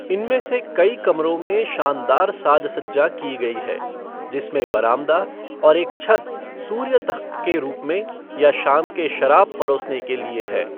इनमें से कई कमरों में शानदार साज सज्जा की गई है, जिसमें बरामदा और एक छत सूर्य तख़्त के रूप में या शाम के शराब परोसने के लिए है।